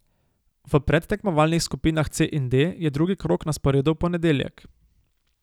V predtekmovalnih skupinah C in D je drugi krog na sporedu v ponedeljek.